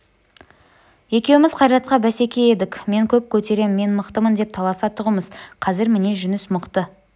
екеуміз қайратқа бәсеке едік мен көп көтерем мен мықтымын деп таласа тұғымыз қазір міне жүніс мықты